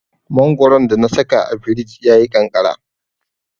Mangoron da na saka a firij ya yi ƙanƙara.